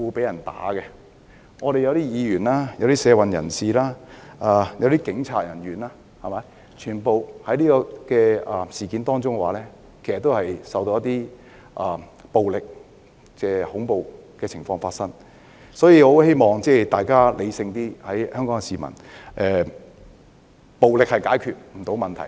有些議員、社運人士和警員均曾在這次事件中遇到暴力或恐怖的情況，所以，我希望香港市民要理性一點，暴力是不能解決問題的。